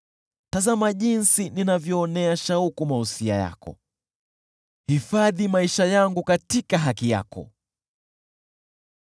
Tazama jinsi ninavyoonea shauku mausia yako! Hifadhi maisha yangu katika haki yako.